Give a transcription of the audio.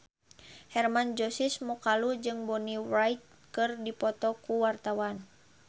Hermann Josis Mokalu jeung Bonnie Wright keur dipoto ku wartawan